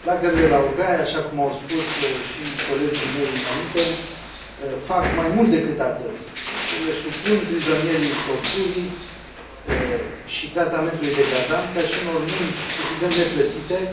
Lagărele laogai, așa cum au spus și colegii mei înainte, fac mai mult decât atât ele supun prizonierii torturii și tratamentului degradant ca și unor munci, evident neplătite,